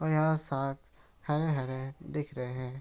और यहाँ साक हरे-हरे दिख रहे हैं।